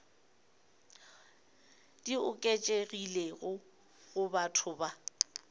di oketšegilego go batho ba